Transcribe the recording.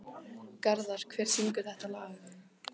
Garðar, hver syngur þetta lag?